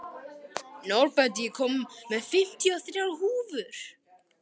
Norbert, ég kom með fimmtíu og þrjár húfur!